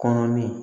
Kɔnɔ min